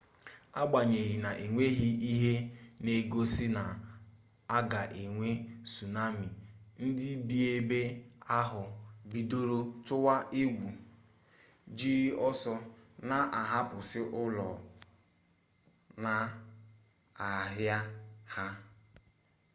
agbanyeghị na enweghị ihe n'egosi na a ga-enwe sunami ndi bi ebe ahụ bidoro tụwa egwu jiri ọsọ na-ahapụsị ụlọ na ahịa ha